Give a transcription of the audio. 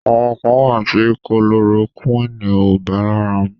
Àwọn kàn wà tí kulorokúìnì ò bá lára mu.